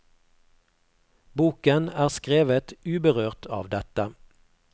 Boken er skrevet uberørt av dette.